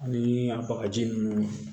Ani a bagaji nunnu